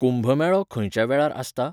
कुंभमेळो खंयच्या वेळार आसता ?